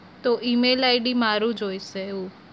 તો email ID મારું જોઇશે એવું?